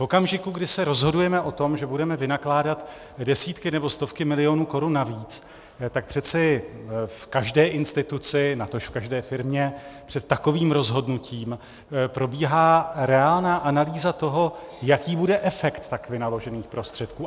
V okamžiku, kdy se rozhodujeme o tom, že budeme vynakládat desítky nebo stovky milionů korun navíc, tak přeci v každé instituci, natož v každé firmě před takovým rozhodnutím probíhá reálná analýza toho, jaký bude efekt tak vynaložených prostředků.